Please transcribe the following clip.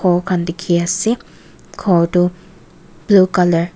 khan dikhi ase ghor tu blue colour .